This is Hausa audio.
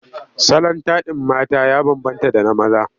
Salon taɗin mata ya bambanta da na maza.